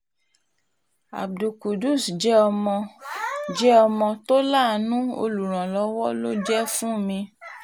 abdul qudus jẹ́ ọmọ jẹ́ ọmọ tó láàánú olùrànlọ́wọ́ ló jẹ́ fún mi